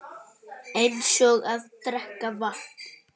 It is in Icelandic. Eins og að drekka vatn.